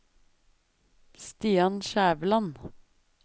Stian Skjæveland